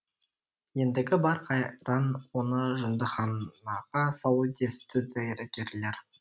ендігі бар қайран оны жындыханаға салу десіпті дәрігерлер